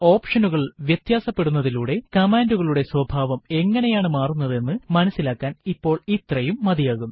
ഓപ്ഷനുകൾ വ്യതാസപെടുത്തുന്നതിലൂടെ കമാൻഡുകളുടെ സ്വഭാവം എങ്ങനെയാണു മാറുന്നത് എന്ന് മനസ്സിലാക്കാൻ ഇപ്പോൾ ഇത്രയും മതിയാകും